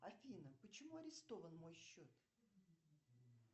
афина почему арестован мой счет